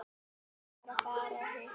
Ég var að fara að hitta